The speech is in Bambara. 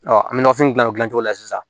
an bɛ nafini dilan o dilan cogo la sisan